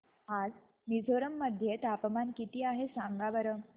आज मिझोरम मध्ये तापमान किती आहे सांगा बरं